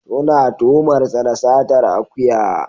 Suna tuhumar sa da satar akuya.